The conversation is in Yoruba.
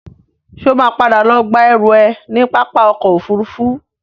Ṣo ma padà lọ gba ẹrú ẹ ní pápá ọkọ̀ Òfurufú?